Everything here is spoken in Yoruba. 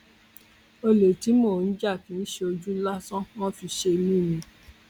olè tí mò ń jà kì í ṣojú lásán wọn fi ṣe mí ni